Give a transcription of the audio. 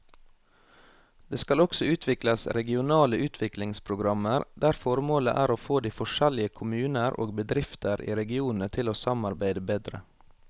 Det skal også utvikles regionale utviklingsprogrammer der formålet er å få de forskjellige kommuner og bedrifter i regionene til å samarbeide bedre.